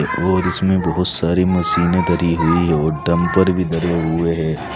और इसमें बहोत सारी मशीने धरी हुई और डंपर भी धरे हुए हैं।